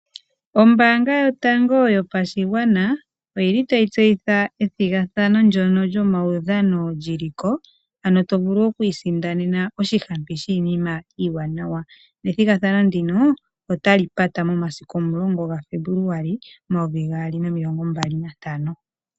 Ombaanga yotango yopashigwana oyili tayi tseyitha ethigathano ndono lyomaudhano lyili ko, ano to vulu oku isindanena oshihampi shiinima iiwaanawa, nethigathano ndino ota li pata momasiku omulongo gaFebluali omayovi gaali nomilongo mbali nantano.